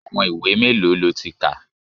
Àwọn ìwé mélòó lo ti kà?